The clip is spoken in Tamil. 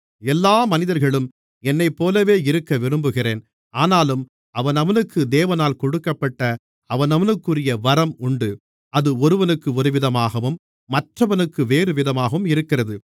எல்லா மனிதர்களும் என்னைப்போலவே இருக்க விரும்புகிறேன் ஆனாலும் அவனவனுக்கு தேவனால் கொடுக்கப்பட்ட அவனவனுக்குரிய வரம் உண்டு அது ஒருவனுக்கு ஒருவிதமாகவும் மற்றொருவனுக்கு வேறுவிதமாகவும் இருக்கிறது